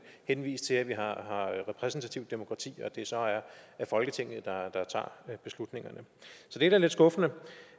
henvise til at vi har repræsentativt demokrati og det så er folketinget der tager beslutningerne så det er da lidt skuffende